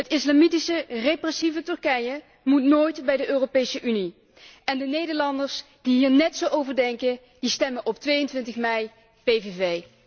Het islamitische, repressieve Turkije moet nooit bij de Europese Unie en de Nederlanders die hier net zo over denken, die stemmen op 22mei op de PVV.